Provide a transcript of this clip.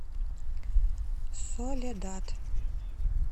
соледад